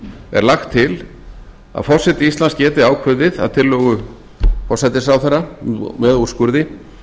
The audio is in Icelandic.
er lagt til að forseti íslands geti ákveðið að tillögu forsætisráðherra með úrskurði